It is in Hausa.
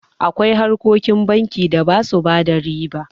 Akwai harkokin banki da ba su bada riba.